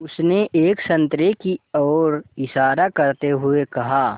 उसने एक संतरे की ओर इशारा करते हुए कहा